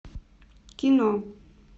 кино